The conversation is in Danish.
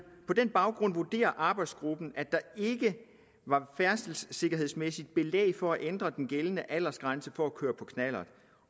på den baggrund vurderer arbejdsgruppen at der ikke var færdselssikkerhedsmæssigt belæg for at ændre den gældende aldersgrænse for at køre på knallert